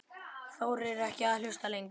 Þorir ekki að hlusta lengur.